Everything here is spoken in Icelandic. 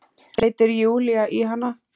hreytir Júlía í hana.